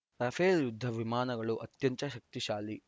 Rafale ಯುದ್ಧ ವಿಮಾನಗಳು ಅತ್ಯಂತ ಶಕ್ತಿಶಾಲಿ